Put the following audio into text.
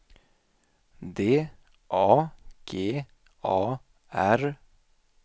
D A G A R